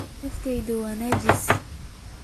Naftayda ha nijaasayn